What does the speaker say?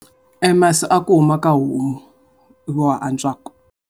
Masi ya ku huma eka homu, hi wona ya antswaka.